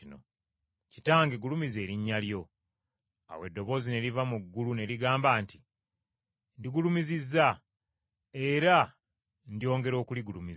Kitange gulumiza erinnya lyo.” Awo eddoboozi ne liva mu ggulu ne ligamba nti, “Ndigulumizizza era ndyongera okuligulumiza.”